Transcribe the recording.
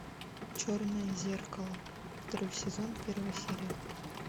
черное зеркало второй сезон первая серия